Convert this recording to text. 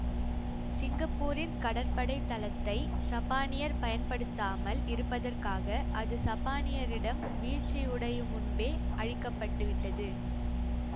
சிங்கப்பூரின் கடற்படை தளத்தை சப்பானியர் பயன்படுத்தாமல் இருப்பதற்காக அது சப்பானியரிடம் வீழ்ச்சியுடையும் முன்பே அழிக்கப்பட்டுவிட்டது